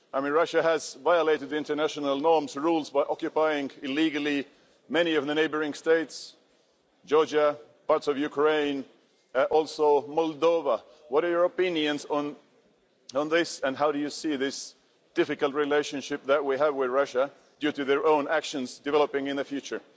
Russia has violated international norms and rules by illegally occupying many of the neighbouring states Georgia, parts of Ukraine, also Moldova. What are your opinions on this and how do you see this difficult relationship that we have with Russia due to their own actions developing in the future?